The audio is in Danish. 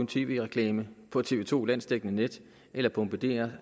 tv reklame på tv to landsdækkende net eller at bombardere